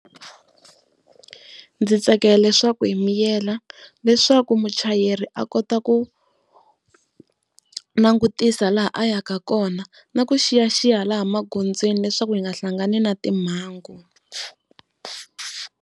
Ndzi tsakela leswaku hi miyela leswaku muchayeri a kota ku langutisa laha a yaka kona na ku xiyaxiya laha magondzweni leswaku hi nga hlangani na timhangu.